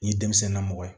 Nin ye denmisɛn na mɔgɔ ye